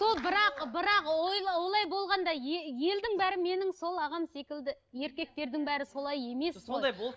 бірақ бірақ олай болғанда елдің бәрі менің сол ағам секілді еркектердің бәрі солай емес қой